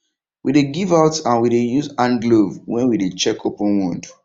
we dey give out and we dey use hand glove when we dey check open wound